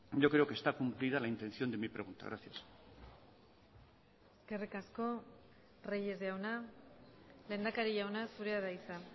yo creo que está cumplida la intención de mi pregunta gracias eskerrik asko reyes jauna lehendakari jauna zurea da hitza